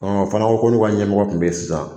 Ɔn a fana ko n'u ka ɲɛmɔgɔ kun be yen sisan